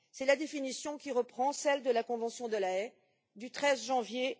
C'est la définition qui reprend celle de la Convention de La Haye du 13 janvier